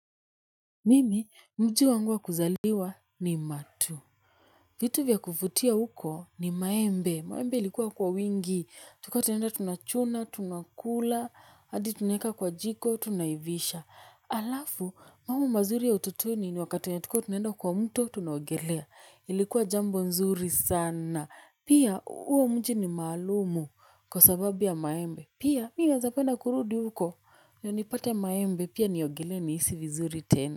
Mimi, mji wangu wa kuzaliwa ni matuu. Vitu vya kuvutia huko ni maembe. Maembe ilikuwa kwa wingi. Tulikuwa tunaenda tunachuna, tunakula, hadi tunaweka kwa jiko, tunaivisha. Alafu, mambo mazuri ya utotoni ni wakati wenye tulikuwa tunaenda kwa mto, tunaogelea. Ilikuwa jambo mzuri sana. Pia, uo mji ni maalumu kwa sababu ya maembe. Pia, mimi nawezapenda kurudi huko. Na nipate maembe pia niogelee nihisi vizuri tena.